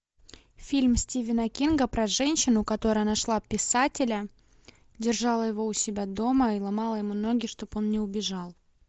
фильм стивена кинга про женщину которая нашла писателя держала его у себя дома и ломала ему ноги чтобы он не убежал